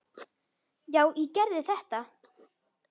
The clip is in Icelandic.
Já, ég gerði þetta!